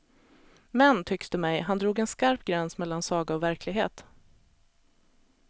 Men, tycks det mig, han drog en skarp gräns mellan saga och verklighet.